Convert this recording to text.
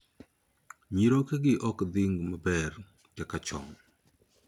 Nyirokegi ok dhing' maber kaka chon?